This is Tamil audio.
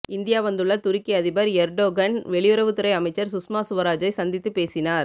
இந்தியா வந்துள்ள துருக்கி அதிபர் எர்டோகன் வெளியுறவுத்துறை அமைச்சர் சுஷ்மா சுவராஜை சந்தித்து பேசினார்